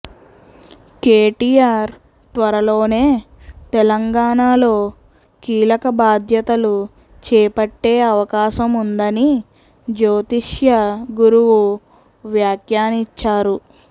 కేటీఆర్ త్వరలోనే తెలంగాణాలో కీలక బాధ్యతలు చేపట్టే అవకాశముందని జ్యోతిష్య గురువు వ్యాఖ్యానించారు